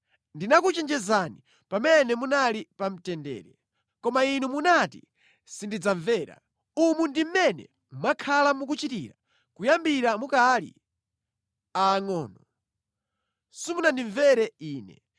Ndinakuchenjezani pamene munali pa mtendere. Koma inu munati, ‘Sindidzamvera.’ Umu ndi mmene mwakhala mukuchitira kuyambira mukali aangʼono. Simunandimvere Ine.